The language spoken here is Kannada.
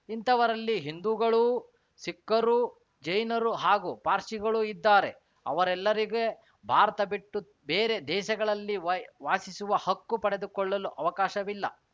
ಇಂಥವರಲ್ಲಿ ಹಿಂದೂಗಳೂ ಸಿಖ್ಖರು ಜೈನರು ಹಾಗೂ ಪಾರ್ಸಿಗಳೂ ಇದ್ದಾರೆ ಅವೆರಲ್ಲರಿಗೆ ಭಾರತ ಬಿಟ್ಟು ಬೇರೆ ದೇಶಗಳಲ್ಲಿ ವಾಸಿಸುವ ಹಕ್ಕು ಪಡೆದುಕೊಳ್ಳಲು ಅವಕಾಶವಿಲ್ಲ